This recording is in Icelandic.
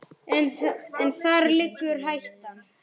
Góða ferð, elsku mamma mín.